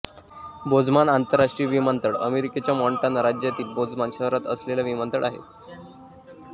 Bozeman आंतरराष्ट्रीय विमानतळ अमेरिकेच्या मॉन्टाना राज्यातील बोझमन शहरात असलेला विमानतळ आहे